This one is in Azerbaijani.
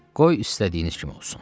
Qoy istədiyiniz kimi olsun.